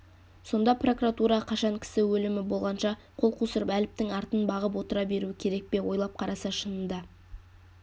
сонда прокуратура қашан кісі өлімі болғанша қол қусырып әліптің артын бағып отыра беруі керек пе ойлап қараса шынында